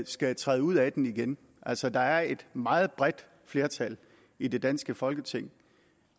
skal træde ud af den igen altså der er et meget bredt flertal i det danske folketing